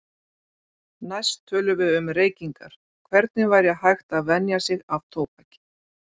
Næst tölum við um reykingar, hvernig væri hægt að venja sig af tóbaki.